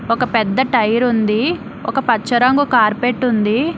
ఒక పెద్ద టైర్ ఉంది ఒక పచ్చ రంగు కార్పెట్ ఉంది.